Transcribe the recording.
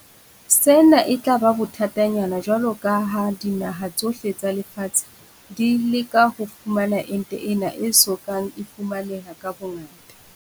Sena e tla ba bothatanyana jwalo ka ha dinaha tsohle tsa lefatshe di leka ho fumana ente ena e so kang e fumaneha ka bongata.